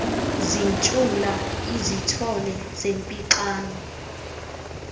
zintshula izithole zempixano